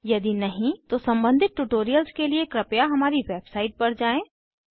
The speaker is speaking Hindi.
यदि नहीं तो सम्बंधित ट्यूटोरियल्स के लिए कृपया हमारी वेबसाइट पर जाएँ